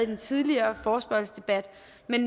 den tidligere forespørgselsdebat